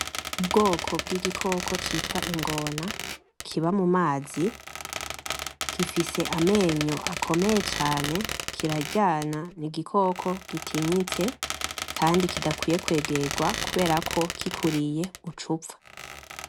Ubwoko bw;igikoko citwa ingona kiba mumazi gifise amenyo akomeye cane kiraryana n'igikoko gitinyitse kandi kidakwiye kwegegwa kuberako kikuriye ucupfa.